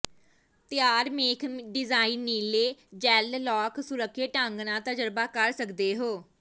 ਤਿਆਰ ਮੇਖ ਡਿਜ਼ਾਇਨ ਨੀਲੇ ਜੈੱਲ ਲਾਖ ਸੁਰੱਖਿਅਤ ਢੰਗ ਨਾਲ ਤਜਰਬਾ ਕਰ ਸਕਦੇ ਹੋ